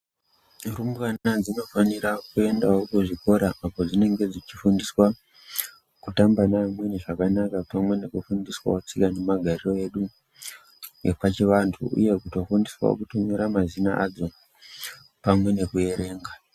Rumbwana dzinofanira kuendao kuzvikora apo padzinenge dzichifundiswa kutamba nevamweni zvakanaka pamwe nekufundiswao tsika nemagariro edu epachivanthu uye kutofundiswao kutonyora mazina adzo pamwe nekuerenga.